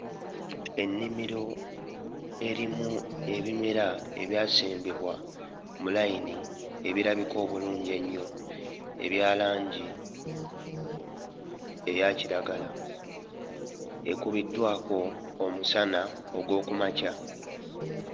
Ennimiro erimu ebimera ebyasimbibwa mu layini ebirabika obulungi ennyo ebya langi eya kiragala ekubiddwako omusana ogw'oku makya.